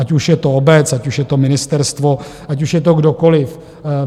Ať už je to obec, ať už je to ministerstvo, ať už je to kdokoliv.